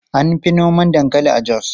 An fi noma dankali a Jos.